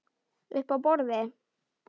Uppi á borði?